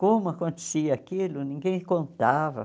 Como acontecia aquilo, ninguém contava.